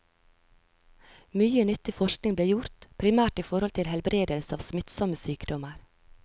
Mye nyttig forskning ble gjort, primært i forhold til helbredelse av smittsomme sykdommer.